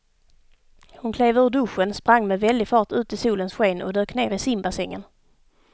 Hon klev ur duschen, sprang med väldig fart ut i solens sken och dök ner i simbassängen.